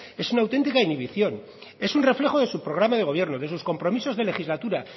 es una auténtica inhibición es un reflejo de su programa de gobierno de sus compromisos de legislatura